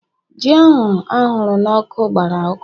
Ji ahụ ahụrụ n'ọkụ gbara ọkụ